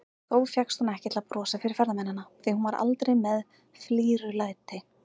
Þó fékkst hún ekki til að brosa fyrir ferðamennina, því hún var aldrei með flírulæti.